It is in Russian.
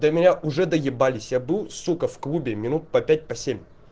ты меня уже доебались я был сукко в клубе минут по пять по семь